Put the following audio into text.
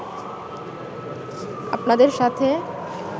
আপনাদের সাথে